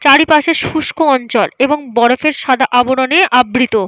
চারিপাশে শুস্ক অঞ্চল এবং বরফের সাদা আবরণে আবৃত।